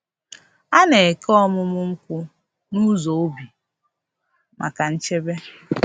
A na-eke ọmụ ọmụ nkwụ n’ụzọ ubi maka nchebe.